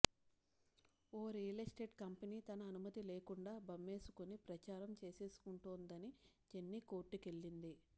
ఓ real estate company తన అనుమతి లేకుండా బమ్మేసుకుని ప్రచారం చేసేసుకుంటోందని జెన్నీ కోర్టుకెళ్లింది